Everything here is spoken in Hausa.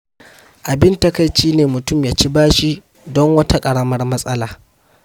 Abin takaici ne mutum ya ci bashi don wata ƙaramar matsala.